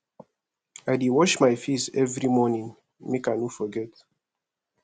i dey wash my face every morning make i no forget